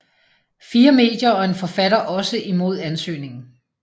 Fire medier og en forfatter også imod ansøgningen